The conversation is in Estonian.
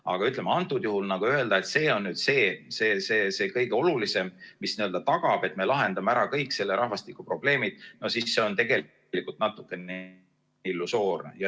Aga antud juhul öelda, et see on nüüd see kõige olulisem, mis tagab, et me lahendame ära kõik rahvastikuprobleemid, no see on tegelikult natukene illusoorne.